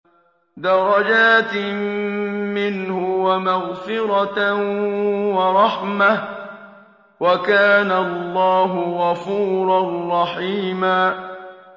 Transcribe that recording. دَرَجَاتٍ مِّنْهُ وَمَغْفِرَةً وَرَحْمَةً ۚ وَكَانَ اللَّهُ غَفُورًا رَّحِيمًا